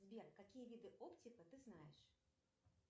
сбер какие виды оптика ты знаешь